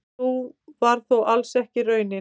Sú var þó alls ekki raunin.